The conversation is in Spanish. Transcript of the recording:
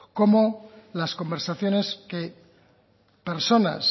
como las conversaciones que personas